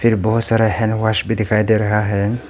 ये बहोत सारा हैंड वॉश भी दिखाई दे रहा है।